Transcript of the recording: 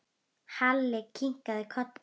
Halli kinkaði kolli.